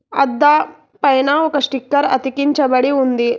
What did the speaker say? అద్దా పైన ఒక స్టిక్కర్ అతికించబడి ఉంది.